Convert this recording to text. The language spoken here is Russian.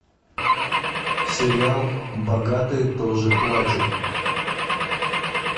сериал богатые тоже плачут